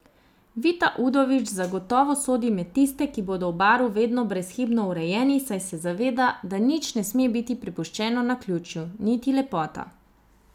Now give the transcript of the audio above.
Vita Udovič zagotovo sodi med tiste, ki bodo v Baru vedno brezhibno urejeni, saj se zaveda, da nič ne sme biti prepuščeno naključju, niti lepota.